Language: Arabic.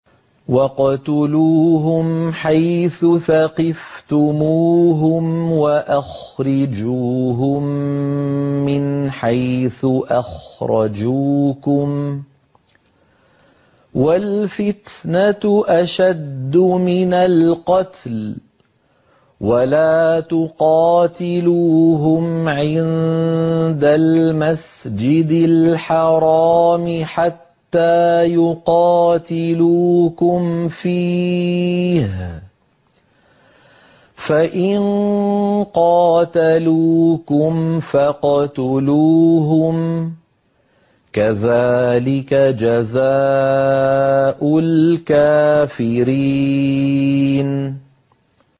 وَاقْتُلُوهُمْ حَيْثُ ثَقِفْتُمُوهُمْ وَأَخْرِجُوهُم مِّنْ حَيْثُ أَخْرَجُوكُمْ ۚ وَالْفِتْنَةُ أَشَدُّ مِنَ الْقَتْلِ ۚ وَلَا تُقَاتِلُوهُمْ عِندَ الْمَسْجِدِ الْحَرَامِ حَتَّىٰ يُقَاتِلُوكُمْ فِيهِ ۖ فَإِن قَاتَلُوكُمْ فَاقْتُلُوهُمْ ۗ كَذَٰلِكَ جَزَاءُ الْكَافِرِينَ